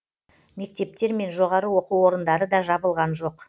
мектептер мен жоғары оқу орындары да жабылған жоқ